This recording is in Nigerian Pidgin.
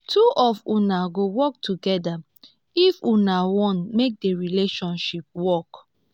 two of una go work togeda if una wan make di relationship work.